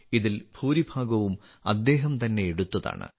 ഇതിൽ ഭൂരിഭാഗവും അദ്ദേഹം തന്നെ എടുത്തതാണ്